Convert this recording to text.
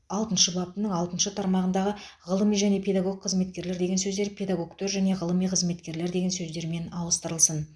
алтыншы баптың алтыншы тармағындағы ғылыми және педагог қызметкерлер деген сөздер педагогтер және ғылыми қызметкерлер деген сөздермен ауыстырылсын